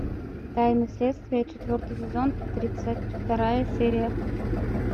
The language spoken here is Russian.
тайны следствия четвертый сезон тридцать вторая серия